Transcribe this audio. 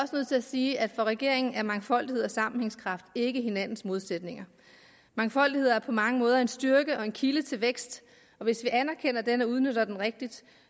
at sige at for regeringen er mangfoldighed og sammenhængskraft ikke hinandens modsætninger mangfoldighed er på mange måder en styrke og en kilde til vækst og hvis vi anerkender den og udnytter den rigtigt